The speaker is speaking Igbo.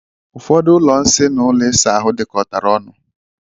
Ụfọdụ ụlọ nsị na ụlọ ịsa ahụ dikọtara ọnu.